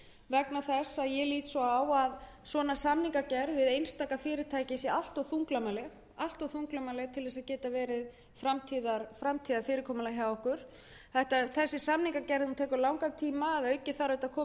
ég lít svo á að samningagerð við einstaka fyrirtæki sé allt of þunglamaleg til þess að geta verið framtíðarfyrirkomulag hjá okkur þessi samningagerð tekur langan tíma þetta þarf að fara í gegnum